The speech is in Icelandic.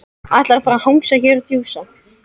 Ætlarðu bara að hanga hér og djúsa?